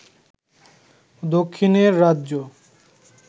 দক্ষিণের রাজ্য